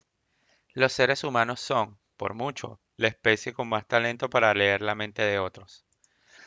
los seres humanos son por mucho la especie con más talento para leer la mente de otros